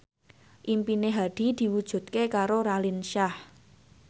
impine Hadi diwujudke karo Raline Shah